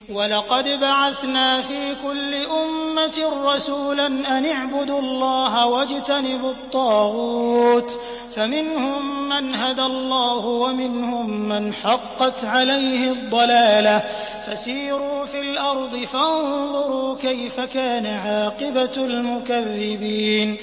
وَلَقَدْ بَعَثْنَا فِي كُلِّ أُمَّةٍ رَّسُولًا أَنِ اعْبُدُوا اللَّهَ وَاجْتَنِبُوا الطَّاغُوتَ ۖ فَمِنْهُم مَّنْ هَدَى اللَّهُ وَمِنْهُم مَّنْ حَقَّتْ عَلَيْهِ الضَّلَالَةُ ۚ فَسِيرُوا فِي الْأَرْضِ فَانظُرُوا كَيْفَ كَانَ عَاقِبَةُ الْمُكَذِّبِينَ